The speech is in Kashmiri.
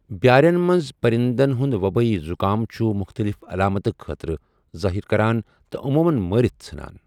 بیٛارِٮ۪ن منٛز پرِندن ہٗند وبٲیی زٗكام چھٗ مُختٔلِف علاماتہٕ ظٲہِر كران تہٕ عمومن مارِتھ ژھنان ۔